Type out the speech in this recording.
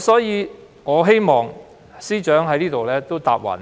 所以，我希望司長在此承諾，